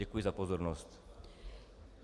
Děkuji za pozornost.